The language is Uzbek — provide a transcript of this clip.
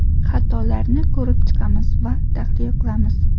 Xatolarni ko‘rib chiqamiz va tahlil qilamiz.